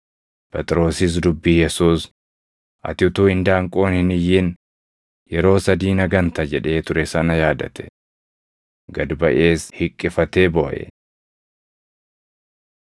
Phexrosis dubbii Yesuus, “Ati utuu indaanqoon hin iyyin yeroo sadii na ganta” jedhee ture sana yaadate. Gad baʼees hiqqifatee booʼe.